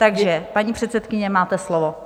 Takže paní předsedkyně, máte slovo.